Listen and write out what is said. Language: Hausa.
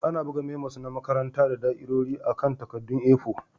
Ana buga memos na makaranta da da'irori akan takaddun A4.